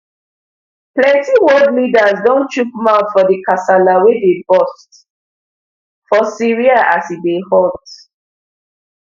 plenti world leaders don chook mouth for di kasala wey dey burst for syria as e dey hot